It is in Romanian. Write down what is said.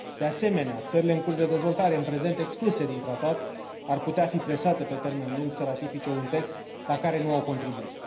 De asemenea, țările în curs de dezvoltare, în prezent excluse din tratat, ar putea fi presate, pe termen lung, să ratifice un text la care nu au contribuit.